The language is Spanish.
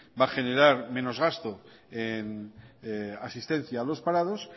va a generar menos gasto en asistencia a los parados